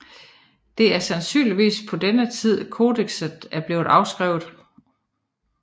Det er sandsynligvis på denne tid kodekset er blevet afskrevet